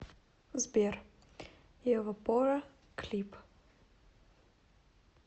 сбер евапора клип